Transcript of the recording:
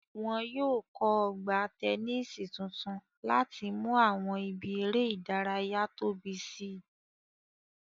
Wọn yóò kọ́ Ọgbà tẹnísì tuntun láti mú àwọn ibi eré ìdárayá tóbi si